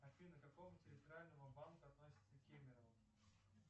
афина к какому территориальному банку относится кемерово